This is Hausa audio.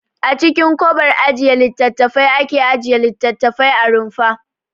A cikin kobar ajiye littattafai ake ajiye littattafai a rumfa.